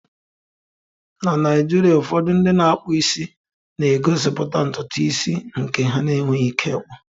Na Naijiria, ụfọdụ ndị na-akpụ isi na-egosipụta ntutu isi nke ha enweghị ike ịkpu.